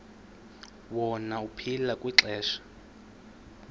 wona aphila kwixesha